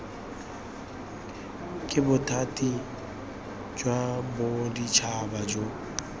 ke bothati jwa boditšhaba jo